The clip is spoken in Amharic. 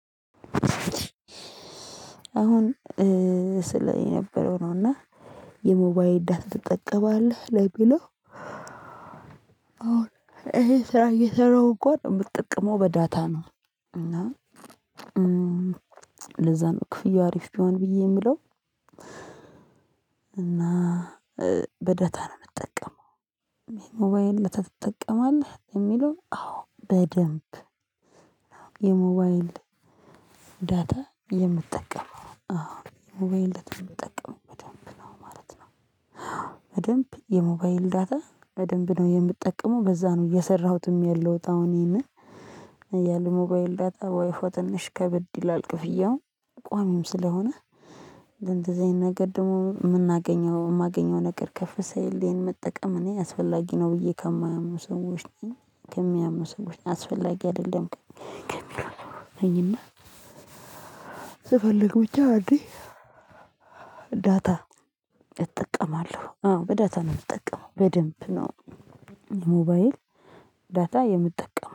አሁን ስል የነበረው ነው እና የሞባይል ዳት ትጠቀማለህ ለሚለው? አዎን ይሄ ስራ እየሰራሁ እንኳን የምጠቀመው በዳታ ነው። እና ለዛ ነው ክፍያው አሪፍ ቢሆን ብዬ የምለው እና በዳታ ነው የምጠቀመው። የሞባይል ዳታ ታትጠቀማለህ የሚለው? አዎ በደንብ የሞባይል ዳታ የምትጠቀመው አዎ ሞባይል ዳታ የምጠቀመው በደንብ ነው ማለት ነው። በደንብ የሞባይል ዳታ በደንብ ነው የምጠቀመው በዛ ነው እየሰራሁትም ያለሁት ይሄንንም ያለ ሞባይል ዳታ ዋይፋይ ትንሽ ከብድ ይላል ክፍያውን ቋሚም ስለሆነ። ለእንደዚህ አይነት ነገር ደግሞ የምናገኘው የማገኘው ነገር ከፍ ሸሳይልኝ ይሄን መጠቀም እኔ አስፈላጊ ነው ብዬ ከማየው ሰዎች ነኝ። ከሚያሙ ሰዎች ነኝ አስፈላጊ አይደለም ከሚሉ ነኝና። ሸስፈልግ ብቻ አዴ ዳታ እጠቀማለሁ አዎ በዳታ ነው የምጠቀመው በደንብ ነው። ሞባይል ዳታ የምጠቀመው